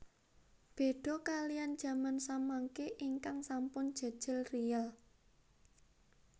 Beda kaliyan jaman samangke ingkang sampun jejel riyel